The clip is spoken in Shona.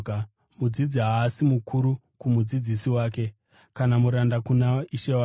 “Mudzidzi haasi mukuru kumudzidzisi wake, kana muranda kuna ishe wake.